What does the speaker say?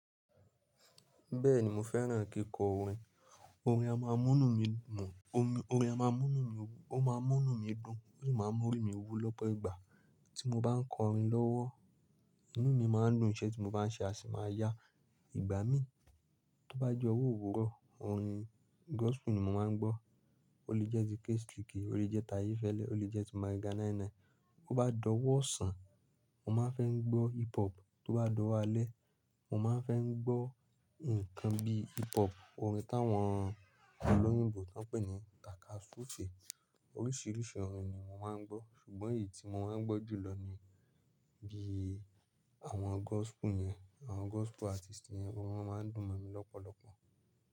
Bẹ́ẹ̀ni mo fẹ́ràn kíkọ orin, orin a máa munu mi dun, o ma múnu mí dùn, ó de máa ń mú orí mi wú lọ́pọ̀ ìgbà tí mo bá ń kọ orin lọ́wọ́. Inú mi máa ń dùn, ìṣe tí mo bá ń ṣe a sì máa yá. Ìgbà mí tí ó bá j'ọwó owuró, orin gospel ni mo máa ń gbọ́, ó lè jẹ́ ti K-sliky, ó lè jẹ́ t'aye Fẹ́lé, ó lè jẹ́ ti Mega 99. Ó bá dọ̀wọ́ osàn, mo máa ń fẹ́ ń gbọ́ hip hop, tó bá dọ̀wọ́ alẹ́, mo máa ń fẹ́ ń gbọ́ nǹkan bíi hip hop, orin táwọn olóyìnbo tán pè ní takasufe. Oríṣiríṣi orin ni mo máa ń gbọ́, ṣùgbọ́n èyí tí mo máa ń gbọ́ jù lọ ni bí i àwọn gospel yẹn, àwọn gospel artist yẹn, orin wọn máa ń dùn ma mí lọ́pọ̀lọ́pọ̀.